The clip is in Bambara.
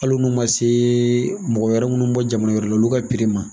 Hali minnu ma se mɔgɔ wɛrɛ minnu mi bɔ jamana wɛrɛ la olu ka ma